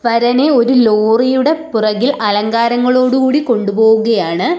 വരനെ ഒരു ലോറിയുടെ പുറകിൽ അലങ്കാരങ്ങളോടു കൂടി കൊണ്ടുപോവുകയാണ്.